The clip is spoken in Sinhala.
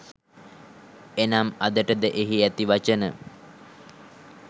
එනම් අදට ද එහි ඇති වචන